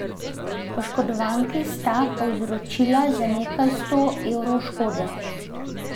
Oškodovanki sta povzročila za nekaj sto evrov škode.